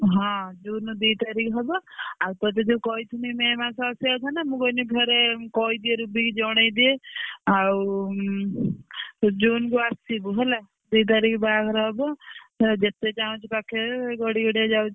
ହଁ June ଦି ତାରିଖ ହବ। ଆଉ ତତେ ଯୋଉ କହିଥିଲି May ମାସ ଆସିଆ କଥା ନା ମୁଁ କହିଲି ଫେରେ କହିଦିଏ ରୁବି କି ଜଣେଇଦିଏ। ଆଉ ଉଁ ତୁ June କୁ ଆସିବୁ ହେଲା। ଦି ତାରିଖ ବାହାଘର ହବ ତେଣେ ଯେତେ ଚାହୁଁଛୁ ପାଖେଇ ଗଡିଗଡିଆ ଯାଉଛି,